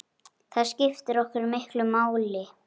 Það skiptir okkur miklu máli.